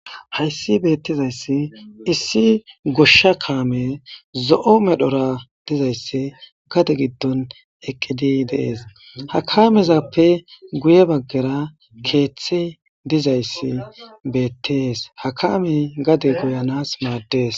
Hays beetizays issi gosha kamey zo'o medhora dizays gade gidon eqid de'es, ha kaamezappe guye bagara keethey dizays betes, ha kamey gade goyanas mades.